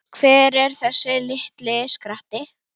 Hver er þessi litli skratti?